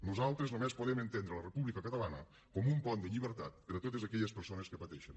nosaltres només podem entendre la república catalana com un pont de llibertat per a totes aquelles persones que pateixen